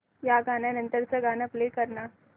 या गाण्या नंतरचं गाणं प्ले कर ना